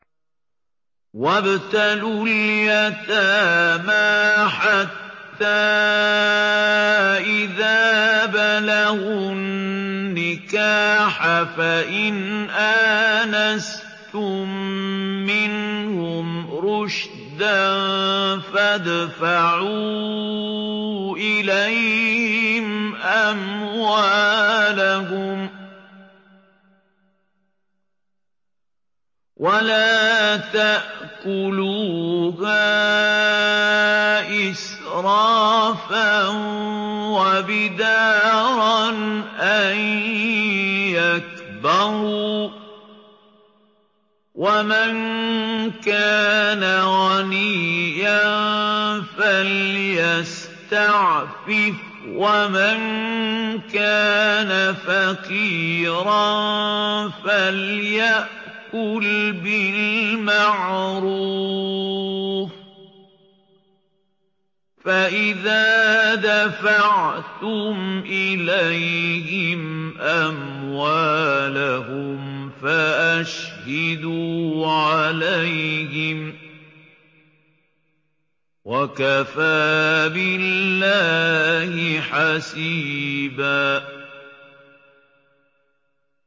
وَابْتَلُوا الْيَتَامَىٰ حَتَّىٰ إِذَا بَلَغُوا النِّكَاحَ فَإِنْ آنَسْتُم مِّنْهُمْ رُشْدًا فَادْفَعُوا إِلَيْهِمْ أَمْوَالَهُمْ ۖ وَلَا تَأْكُلُوهَا إِسْرَافًا وَبِدَارًا أَن يَكْبَرُوا ۚ وَمَن كَانَ غَنِيًّا فَلْيَسْتَعْفِفْ ۖ وَمَن كَانَ فَقِيرًا فَلْيَأْكُلْ بِالْمَعْرُوفِ ۚ فَإِذَا دَفَعْتُمْ إِلَيْهِمْ أَمْوَالَهُمْ فَأَشْهِدُوا عَلَيْهِمْ ۚ وَكَفَىٰ بِاللَّهِ حَسِيبًا